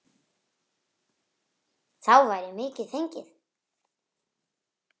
Þá væri mikið fengið.